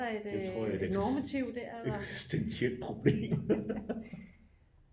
Det tror jeg er et eksistentielt problem